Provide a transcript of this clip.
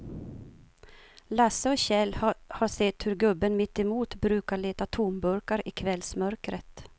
Lasse och Kjell har sett hur gubben mittemot brukar leta tomburkar i kvällsmörkret.